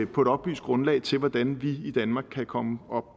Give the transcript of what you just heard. på et oplyst grundlag til hvordan vi i danmark kan komme